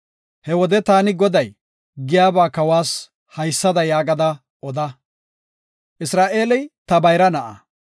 He wode taani Goday giyaba kawas hayssada yaagada oda. ‘Isra7eeli ta bayra na7a.